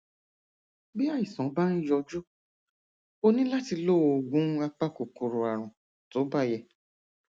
bí àìsàn bá ń yọjú o ní láti lo oògùn apakòkòrò àrùn tó bá yẹ